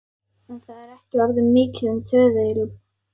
En það er ekki orðið mikið um töðuilm.